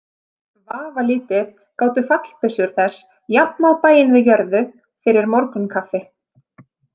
Vafalítið gátu fallbyssur þess jafnað bæinn við jörðu fyrir morgunkaffi.